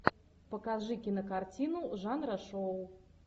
покажи кинокартину жанра шоу